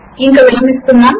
ఇంక విరమిస్తున్నాము